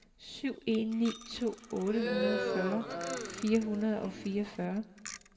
syv en ni to otteogfyrre fire hundrede og treogfyrre